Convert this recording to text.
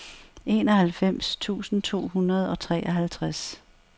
enoghalvfems tusind to hundrede og treoghalvtreds